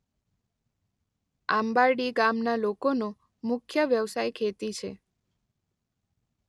આંબારડી ગામના લોકોનો મુખ્ય વ્યવસાય ખેતી છે.